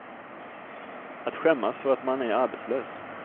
Att skämmas för att man är arbetslös.